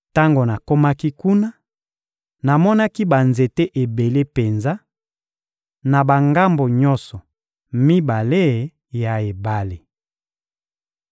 Tango nakomaki kuna, namonaki banzete ebele penza, na bangambo nyonso mibale ya ebale.